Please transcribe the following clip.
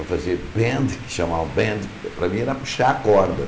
Eu fazia band, que chamavam band, para mim era puxar a corda.